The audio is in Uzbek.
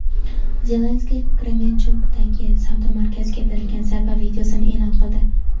Zelenskiy Kremenchugdagi savdo markaziga berilgan zarba videosini eʼlon qildi.